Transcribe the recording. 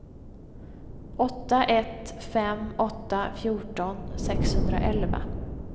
åtta ett fem åtta fjorton sexhundraelva